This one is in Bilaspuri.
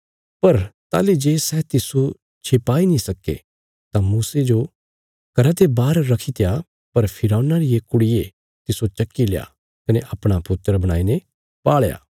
पर ताहली जे सै तिस्सो छिपाई नीं सक्के तां मूसे जो घरा ते बाहर रखीत्या पर फिरौना रिये कुड़िये तिस्सो चकील्या कने अपणा पुत्र बणाईने पाल़या